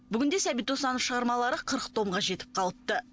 бүгінде сәбит досанов шығармалары қырық томға жетіп қалыпты